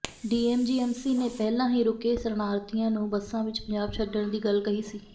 DSGMC ਨੇ ਪਹਿਲਾਂ ਹੀ ਰੁਕੇ ਸ਼ਰਨਾਥੀਆਂ ਨੂੰ ਬੱਸਾਂ ਵਿੱਚ ਪੰਜਾਬ ਛੱਡਣ ਦੀ ਗੱਲ ਕਹੀ ਸੀ